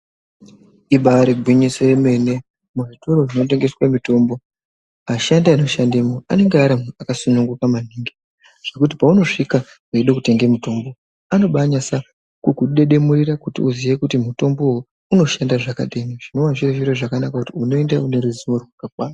Ibari gwinyiso yemene muzvitoro zvinotengeswe mutombo ashandi anoshandemwo anenge ari antu akasununguka maningi zvekuti paunosvika weide kutenge mutombo anoba nyasa kukudedemurira kuti uziye kuti mutombowo unoshanda zvakadini zvinova zviri zviro zvakanaka kuti unoenda une ruzivo rakakwana.